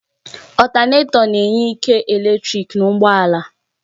Ọtánètọ na-enye ike eletrik na ụgbọ ala